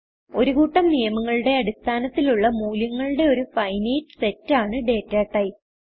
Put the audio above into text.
ഒരു കൂട്ടം നിയമങ്ങളുടെ അടിസ്ഥാനത്തിലുള്ള മൂല്യങ്ങളുടെ ഒരു ഫിനൈറ്റ് സെറ്റ് ആണ് ഡാറ്റ ടൈപ്പ്